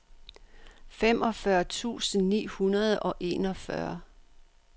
femogfyrre tusind ni hundrede og enogfyrre